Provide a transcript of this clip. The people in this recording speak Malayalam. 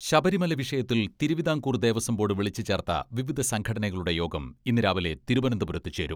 ശബരിമല വിഷയത്തിൽ തിരുവിതാംകൂർ ദേവസ്വം ബോഡ് വിളിച്ച് ചേർത്ത വിവിധ സംഘടനകളുടെ യോഗം ഇന്ന് രാവിലെ തിരുവനന്തപുരത്ത് ചേരും.